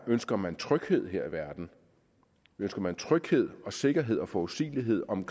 ønsker man tryghed her i verden ønsker man tryghed og sikkerhed og forudsigelighed om